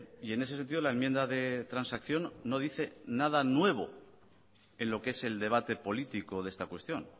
y en ese sentido la enmienda de transacción no dice nada nuevo en lo que es el debate político de esta cuestión